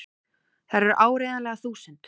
Þær eru áreiðanlega þúsund!!